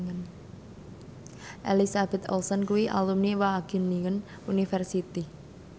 Elizabeth Olsen kuwi alumni Wageningen University